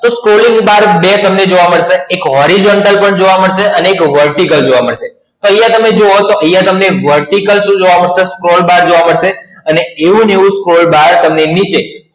એ Scrolling Bar બે તમને જોવા મળશે એક Horizontal પણ જોવા મળશે અને એક Vertical જોવા મળશે. અહિયાં તમે જુઓ તો અહિયાં તમને Vertical શું જોવા મળશે Scroll bar જોવા મળશે અને એવું ને એવું Scroll bar તમને નીચે